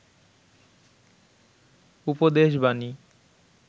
উপদেশ বানী